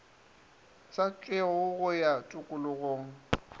sa tšewego go ya tokologong